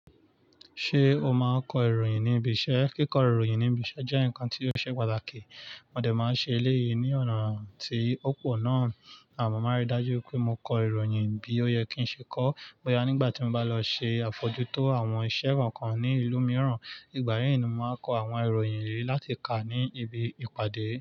Ṣé o máa kọ ìròyìn ní ibi iṣẹ́? Kíkọ ìròyìn ní ibi iṣẹ́ jẹ́ ǹkan tí ó ṣe pàtàkì. Móde máa ń ṣe eléyìí ní ọ̀nà tí ó pò náà àmọ́ máa rí dájú pé mo kọ ìròyìn bí ó yẹ kí ń ṣe kọ. Bóyá nígbà tí mo bá lọ ṣe àfọjú tó àwọn ìṣẹ́ kokan ní ìlú mìíràn, ìgbà yẹn ni mo máa kọ àwọn ìròyìn yìí láti kà ní ibi ìpàdé.